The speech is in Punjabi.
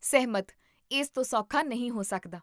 ਸਹਿਮਤ ਇਸ ਤੋਂ ਸੌਖਾ ਨਹੀਂ ਹੋ ਸਕਦਾ